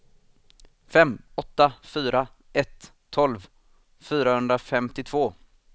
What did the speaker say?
fem åtta fyra ett tolv fyrahundrafemtiotvå